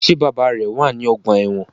Ṣe bàbá rẹ wá ní ọgbà ẹwọn?